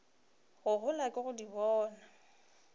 go gola ke go bona